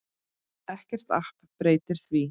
Ekkert app breytir því.